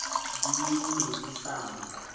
di ne di sa mo